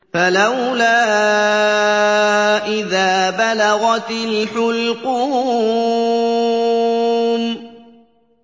فَلَوْلَا إِذَا بَلَغَتِ الْحُلْقُومَ